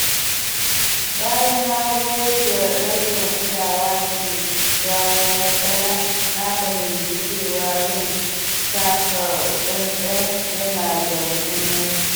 Bayan na ga yadda rashin kulawa ke jawo matsala, na fahimci cewa yin taka-tsantsan yana da muhimmanci.